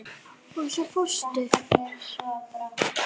Og svo fórstu.